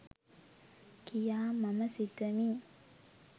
කියා මම සිතමි.